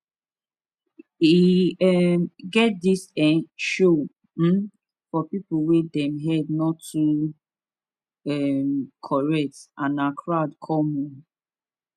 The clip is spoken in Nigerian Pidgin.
e um get this ehh show um for people wey dem head no too um correct and na crowd come o